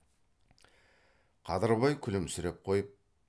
қадырбай күлімсіреп қойып